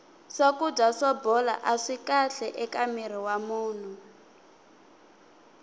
swakudya swo bola aswi kahle eka mirhi wa munhu